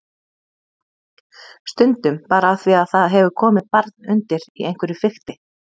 Stundum bara af því að það hefur komið barn undir í einhverju fikti.